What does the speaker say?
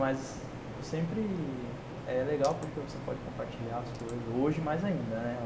Mas sempre é legal porque você pode compartilhar as coisas, hoje mais ainda, né?